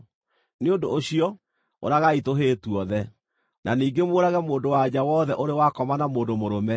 Nĩ ũndũ ũcio, ũragai tũhĩĩ tuothe. Na ningĩ mũũrage mũndũ-wa-nja wothe ũrĩ wakoma na mũndũ mũrũme,